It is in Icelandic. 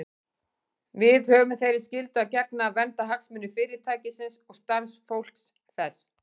Við höfum þeirri skyldu að gegna að vernda hagsmuni Fyrirtækisins og starfsfólks þess.